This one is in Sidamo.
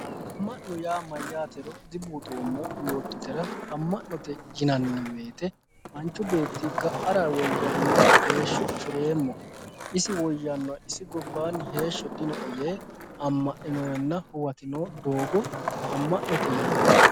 Ama'note yaa mayyatero dibuuxoommo yoottotera ama'note yinanni woyte manchi beetti ga"ara woyyaanoe heeshsho afireemmo isi woyyanoe isi gobbanni heeshsho dinoe yee ama'ninorenna huwatino doogo ama'note yinanni.